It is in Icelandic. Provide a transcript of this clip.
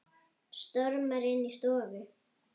Stormar inn í stofu.